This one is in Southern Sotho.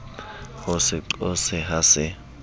ho se qose ha se